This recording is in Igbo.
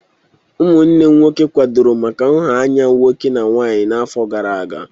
Ụmụnnem nwoke kwadoro maka nha anya nwoke na nwanyị n'afọ gara aga.